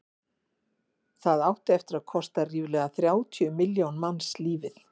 það átti eftir að kosta ríflega þrjátíu milljón manns lífið